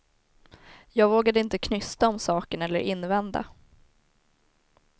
Jag vågade inte knysta om saken eller invända.